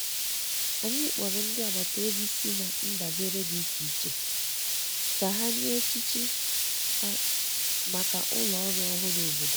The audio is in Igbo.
anyi kporo ndi agbata obi si na ndabere di iche iche ka ha nye echichi ha maka ụlọ ọrụ ọhụrụ obodo